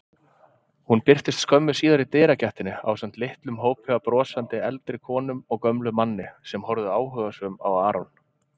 Hún birtist skömmu síðar í dyragættinni ásamt litlum hópi af brosandi eldri konum og gömlum manni sem horfðu áhugasöm á Aron.